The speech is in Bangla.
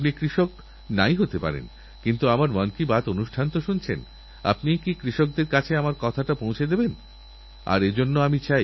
আমাদের শাস্ত্র গীতাহোক শুক্রাচার্য নীতি হোক বা মহাভারতের অনুশাসন পর্ব বর্তমান প্রজন্মের কিছুমানুষ রয়েছেন যাঁরা শাস্ত্রের এই দর্শনকে নিজেদের কর্মে করে দেখিয়েছেন